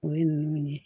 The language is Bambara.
O ye ninnu ye